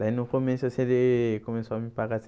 Daí no começo, assim, ele começou a me pagar.